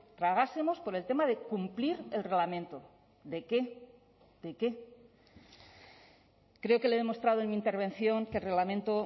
tragásemos por el tema de cumplir el reglamento de qué de qué creo que le he demostrado en mi intervención que el reglamento